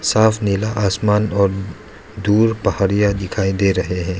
साफ़ नीला आसमान और दूर पहाड़िया दिखाई दे रहे हैं।